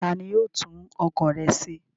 Ta ni yóò tún ọkọ̀ rẹ ṣe?